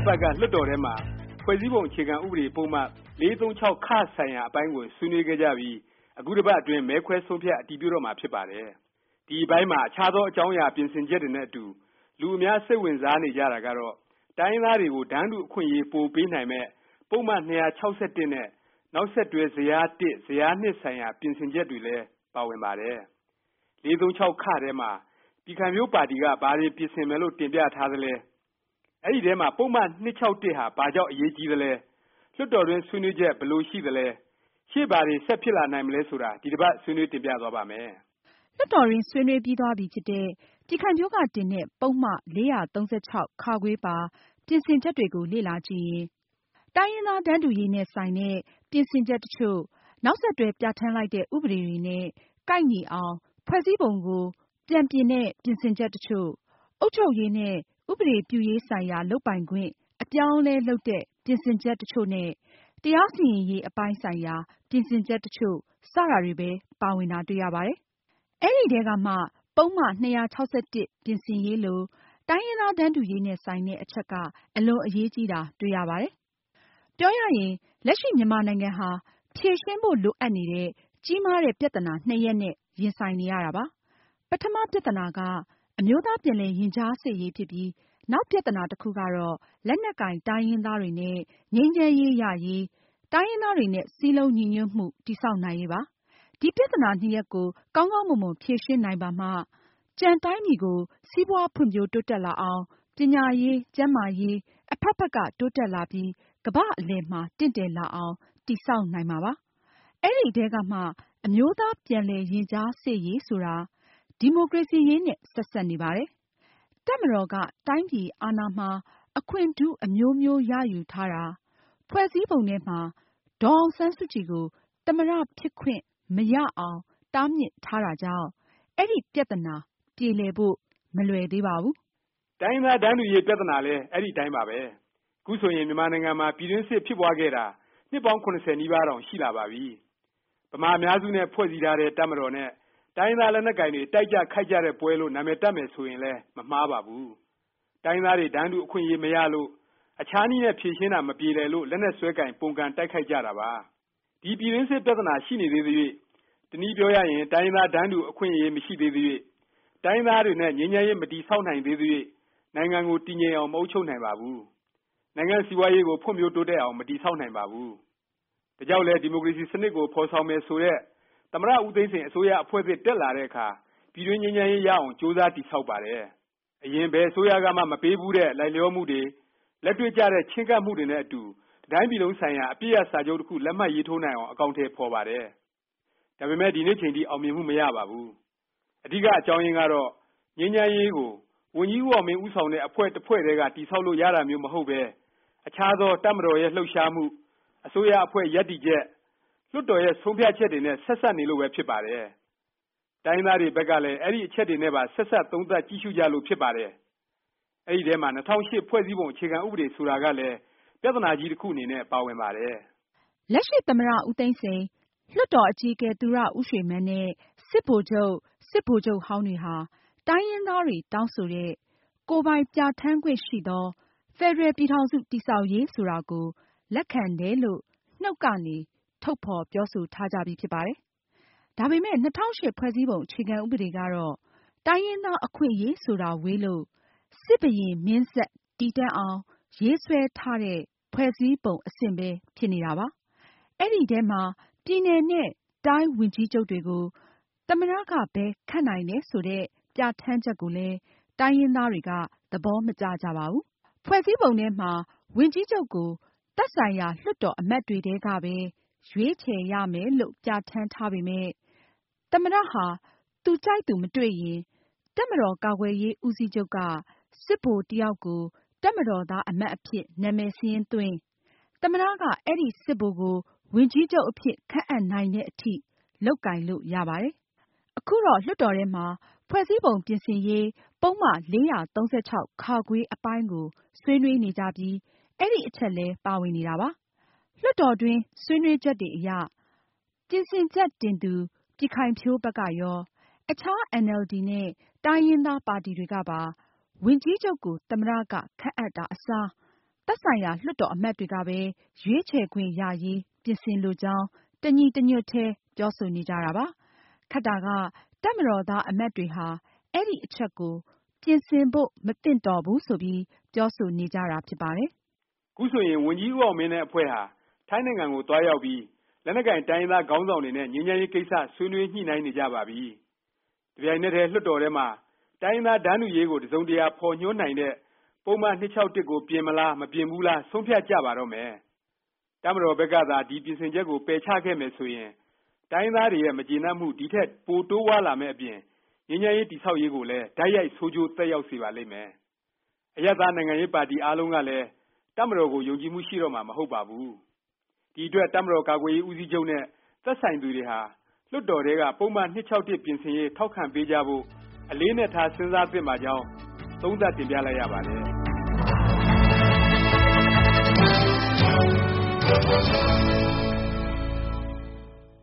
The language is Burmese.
အပါတ်က လွှတ်တော်ထဲမှာ ဖွဲ့စည်းပုံ အခြေခံဥပဒေ ပုဒ်မ ၄၃၆ ဆိုင်ရာ အပိုင်းကို ဆွေးနွေးခဲ့ကြပြီး အခု တစ်ပါတ်အတွင်း မဲခွဲဆုံးဖြတ် အတည်ပြုတော့မှာ ဖြစ်ပါတယ်။ ဒီ အပိုင်းမှာ အခြားသော အကြောင်းအရာ ပြင်ဆင်ချက်တွေနဲ့အတူ လူအများ စိတ်ဝင်စားနေကြတာကတော့ တိုင်းရင်းသားတွေကို တန်းတူအခွင့်အရေး ပိုပေးနိုင်မယ့် ပုဒ်မ ၂၆၁ နဲ့ နောက်ဆက်တွဲ ဇယား ဇယား ဆိုင်ရာ ပြင်ဆင်ချက်တွေလဲ ပါဝင်ပါတယ်။ ၄၃၆ ထဲမှာ ပြည်ခိုင်ဖြိုးပါတီက ဘာတွေ ပြင်ဆင်မယ်လို့ တင်ပြထားသလဲ၊ အဲဒီထဲမှာ ပုဒ်မ ၂၆၁ ဟာ ဘာကြောင့် အရေးကြီးသလဲ၊ လွှတ်တော်တွင်း ဆွေးနွေးချက် ဘယ်လိုရှိသလဲ၊ ရှေ့ဘာတွေ ဆက်ဖြစ်လာနိုင်မလဲ ဆိုတာ ဒီတစ်ပါတ် ဆွေးနွေးတင်ပြသွားပါ့မယ်။ လွှတ်တော်တွင်း ဆွေးနွေးပြီးသွားပြီဖြစ်တဲ့ ပြည်ခိုင်ဖြိုးက တင်တဲ့ ပုဒ်မ ၄၃၆ ပါ ပြင်ဆင်ချက်တွေကို လေ့လာကြည့်ရင် တိုင်းရင်းသား တန်းတူရေးနဲ့ ဆိုင်တဲ့ ပြင်ဆင်ချက် တစ်ချို့၊ နောက်ဆက်တွဲ ပြဌာန်းလိုက်တဲ့ ဥပဒေတွေနဲ့ ကိုက်ညီအောင် ဖွဲ့စည်းပုံ ကို ပြန်ပြင်တဲ့ ပြင်ဆင်ချက် တစ်ချို့၊ အုပ်ချုပ်ရေးနဲ့ ဥပဒေပြုရေး ဆိုင်ရာ လုပ်ပိုင်ခွင့် အပြောင်းအလဲ လုပ်တဲ့ ပြင်ဆင်ချက် တစ်ချို့နဲ့ တရားစီရင်ရေး အပိုင်းဆိုင်ရာ ပြင်ဆင်ချက် တစ်ချို့ စတာတွေပဲ ပါဝင်တာ တွေ့ရပါတယ်။ အဲဒီအထဲကမှ ပုဒ်မ ၂၆၁ ပြင်ဆင်ရေးလို တိုင်းရင်းသား တန်းတူရေးနဲ့ ဆိုင်တဲ့ အချက်က အလွန်အရေးကြီးတာ တွေ့ရပါတယ်။ ပြောရရင် လက်ရှိ မြန်မာနိုင်ငံဟာ ဖြေရှင်းဖို့ လိုအပ်နေတဲ့ ကြီးမားတဲ့ ပြသနာ နှစ်ရပ်နဲ့ ရင်ဆိုင်နေရတာပါ။ ပထမ ပြသနာက အမျိုးသား ပြန်လည်ရင်ကြားစေ့ရေး ဖြစ်ပြီး နောက်ပြသနာ တစ်ခုကတော့ လက်နက်ကိုင် တိုင်းရင်းသားတွေနဲ့ ငြိမ်းချမ်းရေး ရရေး၊ တိုင်းရင်းသားတွေနဲ့ စည်းလုံးညီညွတ်မှု တည်ဆောက်နိုင်ရေးပါ။ ဒီ ပြသနာ နှစ်ရပ်ကို ကောင်းကောင်းမွန်မွန် ဖြေရှင်းနိုင်ပါမှ ကျန် တိုင်းပြည်ကို စီးပွားဖွံ့ဖြိုးတိုးတက်လာအောင်၊ ပညာရေး၊ ကျန်းမာရေး အဖက်ဖက်က တိုးတက်လာပြီး ကမ္ဘာ့အလည်မှာ တင့်တယ်လာအောင် တည်ဆောက်နိုင်မှာဖြစ်ပါတယ်။ ဒီအထဲကမှ အမျိုးသား ပြန်လည် ရင်ကြားစေ့ရေး ဆိုတာ ဒီမိုကရေစီရေးနဲ့ ဆက်စပ်နေပါတယ်။ တပ်မတော်က တိုင်းပြည်အာဏာမှာ အခွင့်ထူး အမျိုးမျိုးရယူထားတာ၊ ဖွဲ့စည်းပုံထဲမှာ ဒေါ်အောင်ဆန်းစုကြည်ကို သမ္မတ ဖြစ်ခွင့်မရအောင် တားမြစ်ထားတာကြောင့် အဲဒီ ပြသနာ ပြေလည်ဖို့ မလွယ်သေးပါဘူး။ တိုင်းရင်းသား တန်းတူရေး ပြသနာလည်း အဲဒီအတိုင်းပါပဲ။ ခုဆိုရင် မြန်မာနိုင်ငံမှာ ပြည်တွင်းစစ် ဖြစ်ပွားခဲ့တာ နှစ်ပေါင်း ၇၀ နီးပါးတောင် ရှိလာပါပြီ။ ဗမာ အများစု နဲ့ ဖွဲ့စည်းထားတဲ့ တပ်မတော်နဲ့ တိုင်းရင်းသား လက်နက်ကိုင်တွေ တိုက်ကြ ခိုက်ကြတဲ့ ပွဲလို့ နာမည်တပ်မယ် ဆိုရင်လည်း မမှားပါဘူး။ တိုင်းရင်းသားတွေ တန်းတူ အခွင့်အရေး မရလို့၊ အခြားနည်းနဲ့ ဖြေရှင်းတာ မပြေလည်လို့ လက်နက်စွဲကိုင် ပုန်ကန်တိုက်ခိုက်ကြတာပါ။ ဒီ ပြည်တွင်းစစ် ပြသနာ ရှိနေသေးသ၍၊ တစ်နည်းပြောရရင် တိုင်းရင်းသား တန်းတူခွင့် မရှိသေးသ၍၊ တိုင်းရင်းသားတွေနဲ့ ငြိမ်းချမ်းရေး မတည်ဆောက်နိုင်သေးသ၍ နိုင်ငံကို တည်ငြိမ်အောင် မအုပ်ချုပ်နိုင်ပါဘူး။ နိုင်ငံ့ စီးပွားရေးကို ဖွံ့ဖြိုးတိုးတက်အောင် မတည်ဆောက်နိုင်ပါဘူး။ ဒါကြောင့်လည်း ဒီမိုကရေစီ စနစ်ကို ဖော်ဆောင်မယ် ဆိုတဲ့ သမ္မတ ဦးသိန်းစိန် အစိုးရ အဖွဲ့သစ် တက်လာတဲ့အခါ ပြည်တွင်းငြိမ်းချမ်းရေး ရအောင် ကြိုးစား တည်ဆောက်ပါတယ်။ အရင် ဘယ်အစိုးရကမှ မပေးဘူးတဲ့ လိုက်လျောမှုတွေ၊ လက်တွေ့ကျတဲ့ ချဉ်းကပ်မှုတွေနဲ့အတူ တစ်တိုင်းပြည်လုံးဆိုင်ရာ အပစ်ရပ် စာချုပ်တစ်ခု လက်မှတ်ရေးထိုးနိုင်အောင် အကောင်အထည် ဖော်ပါတယ်။ ဒါပေမယ့် ဒီနေ့အချိန်ထိ အောင်မြင်မှု မရပါဘူး။ အဓိက အကြောင်းရင်းကတော့ ငြိမ်းချမ်းရေးကို ဝန်ကြီးဦးအောင်မင်း ဦးဆောင်တဲ့ အဖွဲ့တစ်ဖွဲ့ထဲက တည်ဆောက်လို့ ရတာမျိုးမဟုတ်ပဲ၊ အခြားသော တပ်မတော်ရဲ့ လှုပ်ရှားမှု၊ အစိုးရအဖွဲ့ ရပ်တည်ချက်၊ လွှတ်တော်ရဲ့ ဆုံးဖြတ်ချက်တွေနဲ့ ဆက်စပ် နေလို့ပဲ ဖြစ်ပါတယ်။ တိုင်းရင်းသားတွေ ဘက်ကလည်း အဲဒီ အချက်တွေနဲ့ပါ ဆက်စပ် သုံးသပ်ကြည့်ရှုကြလို့ ဖြစ်ပါတယ်။ အဲဒီအထဲမှာ ၂၀၀၈ ဖွဲ့စည်းပုံ အခြေခံဥပဒေ ဆိုတာကလည်း ပြသနာကြီး တစ်ခုအနေနဲ့ ပါဝင်ပါတယ်။ လက်ရှိ သမ္မတ ဦးသိန်းစိန်၊ လွှတ်တော် အကြီးအကဲ သူရဦးရွှေမန်းနဲ့ စစ်ဗိုလ်ချုပ်၊ စစ်ဗိုလ်ချုပ်ဟောင်းတွေဟာ တိုင်းရင်းသားတွေ တောင်းဆိုတဲ့ ကိုယ်ပိုင်ပြဌာန်းခွင့်ရှိသော ဖက်ဒရယ် ပြည်ထောင်စု တည်ဆောက်ရေး ဆိုတာကို လက်ခံတယ်လို့ နှုတ်ကနေ ထုတ်ဖော်ပြောဆိုထားကြပြီး ဖြစ်ပါတယ်။ ဒါပေမယ့် ၂၀၀၈ ဖွဲ့စည်းပုံ အခြေခံဥပဒေကတော့ တိုင်းရင်းသား အခွင့်အရေးဆိုတာ ဝေးလို့ စစ်ဘုရင် မင်းဆက် တည်တံ့အောင် ရေးဆွဲထားတဲ့ ဖွဲ့စည်းပုံ အဆင့်ပဲ ဖြစ်နေတာပါ။ အဲဒီအထဲမှာ ပြည်နယ်နဲ့ တိုင်းဝန်ကြီးချုပ်တွေကို သမ္မတ က ပဲ ခန့်နိုင်တယ်ဆိုတဲ့ ပြဌာန်းချက်ကိုလည်း တိုင်းရင်းသားတွေက သဘောမကျကြပါဘူး။ ဖွဲ့စည်းပုံထဲမှာ ဝန်ကြီးချုပ်ကို သက်ဆိုင်ရာ လွှတ်တော် အမတ်တွေထဲကပဲ ရွေးချယ်ရမယ်လို့ ပြဌာန်းထားပေမယ့် သမ္မတ ဟာ သူကြိုက်သူ မတွေ့ရင် တပ်မတော် ကာကွယ်ရေးဦးစီးချုပ်က စစ်ဗိုလ်တစ်ယောက်ကို တပ်မတော်သား အမတ်အဖြစ် နာမည်စာရင်းသွင်း၊ သမ္မတက အဲဒီ စစ်ဗိုလ်ကို ဝန်ကြီးချုပ် အဖြစ် ခန့်အပ်နိုင်တဲ့အထိ လုပ်ကိုင်လို့ ရပါတယ်။ ခုတော့ လွှတ်တော်ထဲမှာ ဖွဲ့စည်းပုံ ပြင်ဆင်ရေး ပုဒ်မ ၄၃၆ အပိုင်းကို ဆွေးနွေးနေကြပြီး အဲဒီ အချက်လည်း ပါဝင်နေပါတယ်။ လွှတ်တော်တွင်း ဆွေးနွေးချက်တွေအရ ပြင်ဆင်ချက်တင်သူ ပြည်ခိုင်ဖြိုးဘက်ကရော၊ အခြား အင်န်အယ်လ်ဒီ နဲ့ တိုင်းရင်းသား ပါတီတွေကပါ ဝန်ကြီးချုပ်ကို သမ္မတ က ခန့်အပ်တာ အစား၊ သက်ဆိုင်ရာ လွှတ်တော်အမတ်တွေကပဲ ရွေးချယ်ခွင့်ရရေး ပြင်ဆင်လိုကြောင်း တညီတညွတ်တည်း ပြောဆိုနေကြပါတယ်။ ခက်တာက တပ်မတော်သား အမတ်တွေဟာ အဲဒီ အချက်ကို ပြင်ဆင်ဖို့ မသင့်တော်ဘူး ဆိုပြီး ပြောဆိုနေကြတာပါ။ အခုဆိုရင် ဝန်ကြီးဦးအောင်မင်းနဲ့ အဖွဲ့ဟာ ထိုင်းနိုင်ငံကိုသွားရောက်ပြီး လက်နက်ကိုင် တိုင်းရင်းသားခေါင်းဆောင်တွေနဲ့ ငြိမ်းချမ်းရေး ကိစ္စ ဆွေနွေးညှိနှိုင်းနေကြပါပြီ။ တစ်ပြိုင်နက်တည်း လွှတ်တော်ထဲမှာ တိုင်းရင်းသား တန်းတူရေးကို တစ်စုံတစ်ရာ ဖော်ညွှန်းနိုင်တဲ့ ပုဒ်မ ၂၆၁ ကို ပြင်မလား၊ မပြင်ဘူးလား ဆုံးဖြတ်ကြပါတော့မယ်။ တပ်မတော်ဘက်ကသာ ဒီ ပြင်ဆင်ချက်ကို ပယ်ချခဲ့မယ်ဆိုရင် တိုင်းရင်းသားတွေရဲ့ မကျေနပ်မှု ဒီထက် ပို တိုးပွားလာမယ့်အပြင် ငြိမ်းချမ်းရေး တည်ဆောက်ရေးကိုလည်း တိုက်ရိုက် ဆိုးကျိုးသက်ရောက်စေပါလိမ့်မယ်။ အရပ်သား နိုင်ငံရေးပါတီ အားလုံးကလည်း တပ်မတော်ကို ယုံကြည်မှု ရှိတော့မှာ မဟုတ်ပါဘူး။ ဒီအတွက် တပ်မတော်ကာကွယ်ရေး ဦးစီးချုပ်နဲ့ သက်ဆိုင်သူတွေဟာ လွှတ်တော်ထဲက ပုဒ်မ ၂၆၁ ပြင်ဆင်ရေး ထောက်ခံပေးကြဖို့ အလေးအနက်ထား စဉ်းစားသင့်ပါကြောင်း သုံးသပ်တင်ပြလိုက်ရပါတယ်။